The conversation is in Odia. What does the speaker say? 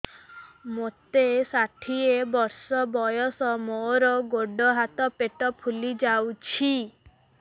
ମୋତେ ଷାଠିଏ ବର୍ଷ ବୟସ ମୋର ଗୋଡୋ ହାତ ପେଟ ଫୁଲି ଯାଉଛି